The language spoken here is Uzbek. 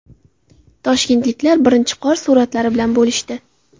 Toshkentliklar birinchi qor suratlari bilan bo‘lishdi.